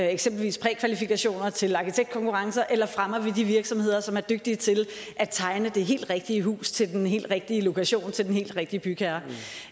eksempelvis prækvalifikationer til arkitektkonkurrencer eller fremmer vi de virksomheder som er dygtige til at tegne det helt rigtige hus til den helt rigtige lokation til den helt rigtige bygherre